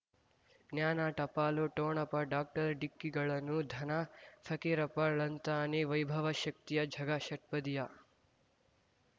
ಜ್ಞಾನ ಟಪಾಲು ಠೋಣಪ ಡಾಕ್ಟರ್ ಢಿಕ್ಕಿ ಗಳನು ಧನ ಫಕೀರಪ್ಪ ಳಂತಾನೆ ವೈಭವ ಶಕ್ತಿಯ ಝಗಾ ಷಟ್ಪದಿಯ